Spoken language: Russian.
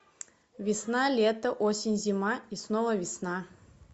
весна лето осень зима и снова весна